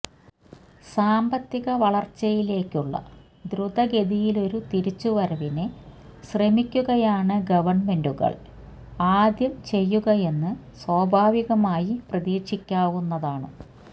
സാമ്പത്തിക വളർച്ചയിലേക്കുള്ള ദ്രുതഗതിയിലൊരു തിരിച്ചുവരവിന് ശ്രമിക്കുകയാണ് ഗവൺമെന്റുകൾ ആദ്യം ചെയ്യുകയെന്ന് സ്വാഭാവികമായി പ്രതീക്ഷിക്കാവുന്നതാണ്